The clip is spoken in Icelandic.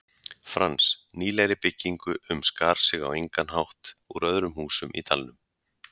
Frans, nýlegri byggingu sem skar sig á engan hátt úr öðrum húsum í dalnum.